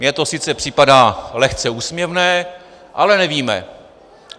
Mně to sice připadá lehce úsměvné, ale nevíme.